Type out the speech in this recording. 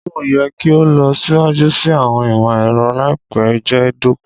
Ologun yẹ ki o lọ siwaju si awọn imọ-ẹrọ laipẹ lati jẹ doko